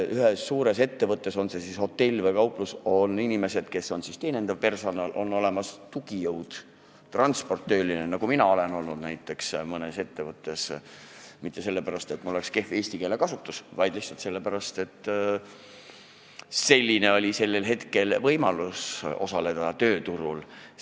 Suures ettevõttes, on see siis hotell või kauplus, on inimesed, kes kuuluvad teenindava personali hulka, on olemas tugijõud, on transporditöölised, kes ka mina olen olnud mõnes ettevõttes ja mitte sellepärast, nagu mul oleks olnud kehv eesti keele oskus, vaid lihtsalt sellepärast, et selline oli sellel hetkel võimalus tööturul osaleda.